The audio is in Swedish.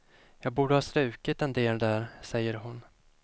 Jag borde ha strukit en del där, säger hon.